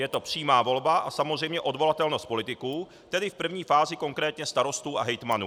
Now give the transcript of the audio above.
Je to přímá volba a samozřejmě odvolatelnost politiků, tedy v první fázi konkrétně starostů a hejtmanů.